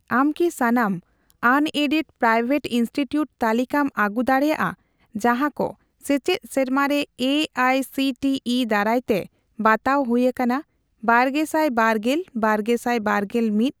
ᱟᱢ ᱠᱤ ᱥᱟᱱᱟᱢ ᱟᱱᱮᱰᱮᱰᱼᱯᱨᱟᱭᱣᱮᱴ ᱤᱱᱥᱴᱤᱴᱤᱭᱩᱴ ᱛᱟᱞᱤᱠᱟᱢ ᱟᱹᱜᱩ ᱫᱟᱲᱮᱭᱟᱜᱼᱟ ᱡᱟᱦᱟᱸᱠᱚ ᱥᱮᱪᱮᱫ ᱥᱮᱨᱢᱟᱨᱮ A I C T E ᱫᱟᱨᱟᱭᱛᱮ ᱵᱟᱛᱟᱣ ᱦᱩᱭ ᱟᱠᱟᱱᱟ ᱵᱟᱨᱜᱮᱥᱟᱭ ᱵᱟᱨᱜᱮᱞ ᱼᱵᱟᱨᱜᱮᱥᱟᱭ ᱵᱟᱨᱜᱮᱞ ᱢᱤᱛ ?